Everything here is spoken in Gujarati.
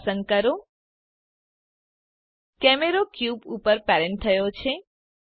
ક્યુબ પસંદ કરો કેમેરો ક્યુબ ઘન ઉપર પેરેન્ટ થયો છે